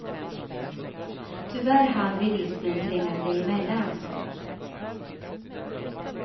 Tyvärr hann bilismen tränga sig emellan.